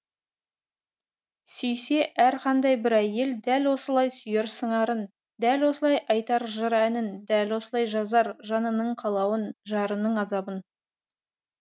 сүйсе әрқандай бір әйел дәл осылай сүйер сыңарын дәл осылай айтар жыр әнін дәл осылай жазар жанының қалауын жарының азабын